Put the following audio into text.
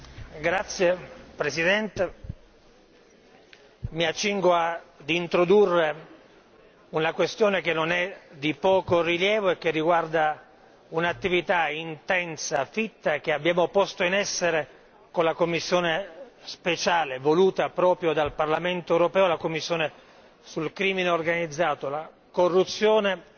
Presidente, mi accingo ad introdurre una questione che non è di poco rilievo e che riguarda un'attività intensa, fitta che abbiamo posto in essere con la commissione speciale, voluta proprio dal Parlamento europeo la commissione sul crimine organizzato, la corruzione e il riciclaggio.